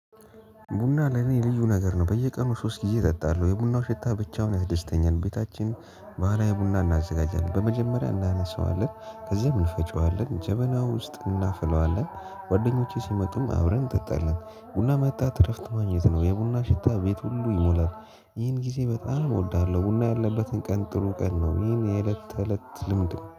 ቡና ለኔ የልዩ ነገር ነው በየቀኑ ሶስት ጊዜ እጠጣለሁ የቡናው ሸታ ብቻውን ያስደስተኛል። ቤታችን ባህላዊ ቡና እናዘጋጃለን በመጀመሪያ እናነሳዋለን ከዚያም እንፈጨዋለን ጀበና ውስጥ እናፍለዋለን። ጓደኞቼ ሲመጡም አብረን እጠጣለን። ቡና መጠጣት እረፍት ማግኘት ነው የቡና ሽታ እቤት ሁሉ ይሞላል። ይህን ጊዜ በጣም እወዳለሁ ቡና ያለበትን ቀን ጥሩ ቀን ነው። ይህን የእለት ተእለት ልምድ ነው